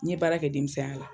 N ye baara kɛ denmisɛnya la.